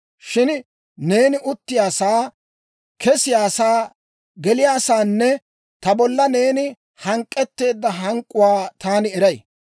«Shin neeni uttiyaasaa, kesiyaasaa, geliyaasaanne, ta bolla neeni hank'k'etteedda hank'k'uwaa taani eray.